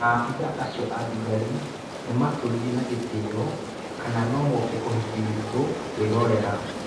Maabithaa acio athigari nĩmatũririe na gĩtĩo kana no moke ũhĩki wĩtũkwĩrorera.